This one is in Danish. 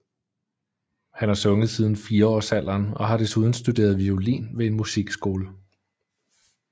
Han har sunget siden fireårsalderen og har desuden studeret violin ved en musikskole